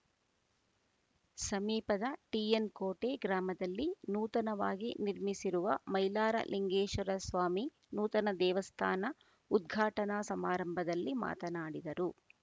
ಸಮೀಪದ ಟಿಎನ್‌ಕೋಟೆ ಗ್ರಾಮದಲ್ಲಿ ನೂತನವಾಗಿ ನಿರ್ಮಿಸಿರುವ ಮೈಲಾರಲಿಂಗೇಶ್ವರಸ್ವಾಮಿ ನೂತನ ದೇವಸ್ಥಾನ ಉದ್ಘಾಟನಾ ಸಮಾರಂಭದಲ್ಲಿ ಮಾತನಾಡಿದರು